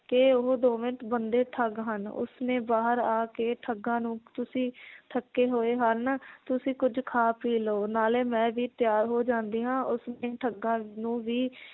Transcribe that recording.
ਕਿ ਉਹ ਦੋਵੇਂ ਬੰਦੇ ਠੱਗ ਹਨ ਉਸ ਨੇ ਬਾਹਰ ਆ ਕੇ ਠੱਗਾਂ ਨੂੰ ਤੁਸੀਂ ਥੱਕੇ ਹੋਏ ਹਨ ਤੁਸੀਂ ਕੁਝ ਖਾ ਪੀ ਲਓ ਨਾਲੇ ਮੈ ਵੀ ਤਿਆਰ ਹੋ ਜਾਂਦੀ ਹਾਂ ਉਸ ਨੇ ਠੱਗਾਂ ਨੂੰ ਵੀ